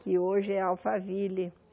que hoje é Alphaville.